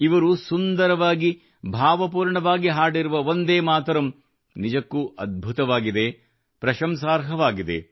ಇವರು ಸುಂದರವಾಗಿ ಮತ್ತು ಭಾವಪೂರ್ಣವಾಗಿ ಹಾಡಿರುವ ವಂದೇಮಾತರಂ ನಿಜಕ್ಕೂ ಅದ್ಭುತವಾಗಿದೆ ಮತ್ತು ಪ್ರಶಂಸಾರ್ಹವಾಗಿದೆ